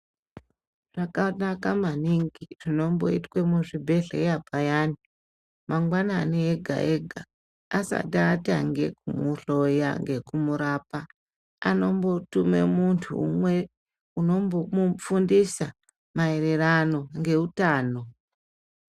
Zvakanaka maningi zvinomboitwe muzvibhedhlera payani , mangwanani ega ega asati atange kumuhloya ngekumurapa anombotume muntu umwe uno mbomufundisa maererano ngeutano.